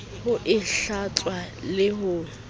ho e hlatswa le ho